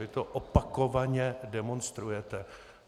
Vy to opakovaně demonstrujete.